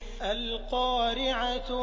الْقَارِعَةُ